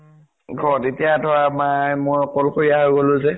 ঘৰত এতিয়া তো আৰু মা মই অকলশৰীয়া হৈ গʼলো যে